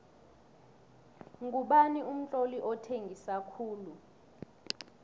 ngubani umtloli othengisa khulu